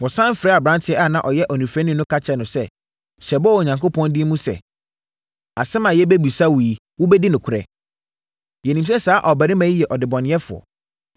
Wɔsane frɛɛ aberanteɛ a na ɔyɛ onifirani no ka kyerɛɛ no sɛ, “Hyɛ bɔ wɔ Onyankopɔn din mu sɛ, asɛm a yɛrebɛbisa wo yi wobɛdi nokorɛ. Yɛnim sɛ saa ɔbarima yi yɛ ɔdebɔneyɛfoɔ.”